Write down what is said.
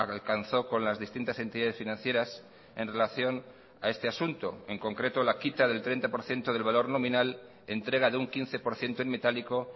alcanzó con las distintas entidades financieras en relación a este asunto en concreto la quita del treinta por ciento del valor nominal entrega de un quince por ciento en metálico